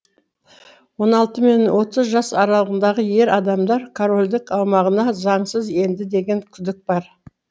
он алты мен отыз жас аралығындағы ер адамдар корольдік аумағына заңсыз енді деген күдік бар